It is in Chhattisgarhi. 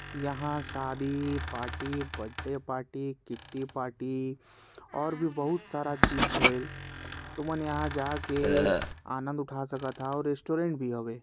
यहा शादी party birthday party kitty party और भी बहुत सारा चीज होए तुमन यहाँ जाके आनंद उठा सकत हो और रेस्टोरेंट भी हरे।